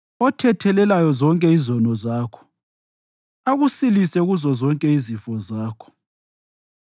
othethelelayo zonke izono zakho akusilise kuzozonke izifo zakho,